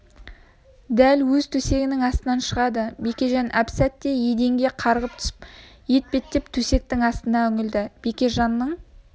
дәл өз төсегінің астынан шығады бекежан әп-сәтте еденге қарғып түсіп етбеттеп төсектің астына үңілді бекежанның